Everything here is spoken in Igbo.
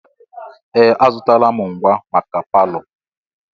Ee! Azụtala m ngwa maka palọ.